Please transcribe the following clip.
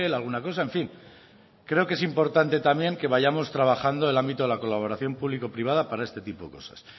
alguna cosa en fin creo que es importante también que vayamos trabajando el ámbito de la colaboración público privada para este tipo de cosas